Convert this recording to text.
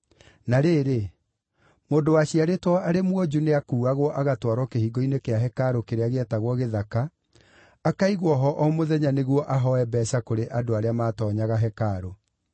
Na rĩrĩ, mũndũ waciarĩtwo arĩ mwonju nĩakuuagwo agatwarwo kĩhingo-inĩ kĩa hekarũ kĩrĩa gĩetagwo Gĩthaka, akaigwo ho o mũthenya nĩguo ahooe mbeeca kũrĩ andũ arĩa maatoonyaga hekarũ.